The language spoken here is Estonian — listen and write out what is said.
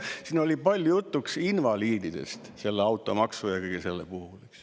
Siin oli palju juttu invaliididest selle automaksu puhul.